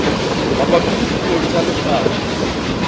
mabapi le puo tsa lefapha